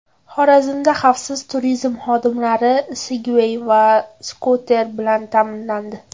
Xorazmda xavfsiz turizm xodimlari Sigway va skuter bilan ta’minlandi.